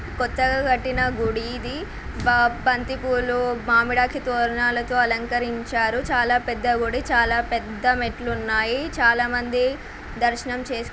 కొత్తగా కట్టిన గుడి ఇది బ బంతి పూలు మామిడాకుల తోరణాలతో అలంకరించారు చాలా పెద్ద గుడి చాలా పెద్ద మెట్లు ఉన్నాయి చాలా మంది దర్శనం చేస్కు --